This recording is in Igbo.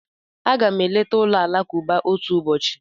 Aga m eleta ụlọ alakụba otu ụbọchị.